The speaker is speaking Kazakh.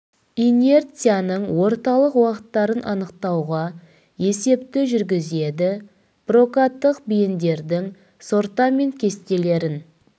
инерцияның орталық уақыттарын анықтауға есепті жүргізеді прокаттық бейіндердің сортамент кестелерін